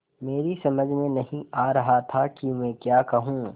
मेरी समझ में नहीं आ रहा था कि मैं क्या कहूँ